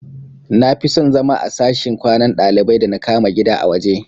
Nafison zama a sashin kwanan dalibai da na kama gida a waje